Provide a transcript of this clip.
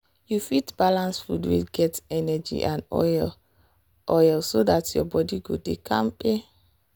you fit balance food wey get energy and oil oil so dat your body go dey kampe.